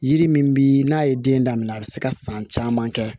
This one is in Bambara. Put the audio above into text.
Yiri min bi n'a ye den daminɛ a bi se ka san caman kɛ